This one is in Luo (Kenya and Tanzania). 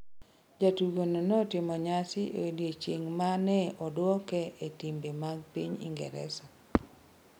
Jatugono notimo nyasi e odiechieng’ ma ne odwoke e timbe mag piny Ingresa.